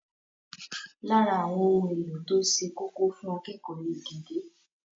Lára àwọn ohun èlò tó ṣe kókó fún akẹ́kọ̀ọ́ ni gègé.